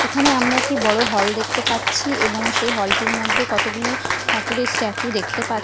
এখানে আমরা একটি বড়ো হল দেখতে পাচ্ছি এবং সেই হল টির মধ্যে কতগুলি ঠাকুরের স্ট্যাচু দেখতে পাচ্ছি--